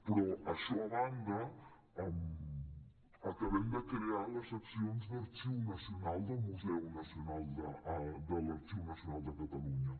però això a banda acabem de crear les seccions d’arxiu nacional de l’arxiu nacional de catalunya